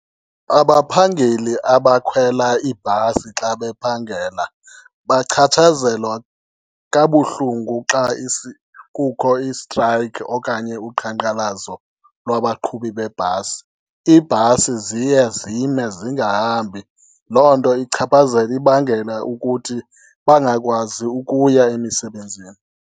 Abaphangeli abakhwela ibhasi xa bephangela bachatshazelwa kabuhlungu xa kukho istrayikhi okanye uqhankqalazo lwabaqhubi beebhasi. Iibhasi ziye zime zingahambi, loo nto ichaphazele, ibangela ukuthi bangakwazi ukuya emisebenzini.